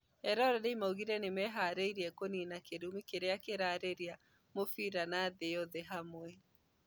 Eroreri maugire nĩmeharĩirie kũnina kĩrumi kĩrĩa kĩrarĩa mũbira na thĩ yothe hamwe